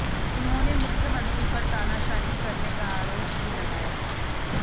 उन्होंने मुख्यमंत्री पर तानाशाही करने का आरोप भी लगाया